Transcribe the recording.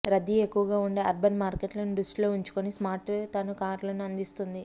రద్దీ ఎక్కువగా ఉండే అర్బన్ మార్కెట్లను దృష్టిలో ఉంచుకొని స్మార్ట్ తమ కార్లను అందిస్తోంది